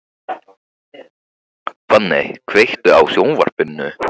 Fanney, kveiktu á sjónvarpinu.